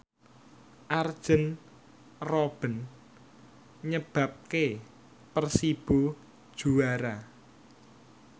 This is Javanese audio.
Arjen Robben nyebabke Persibo juara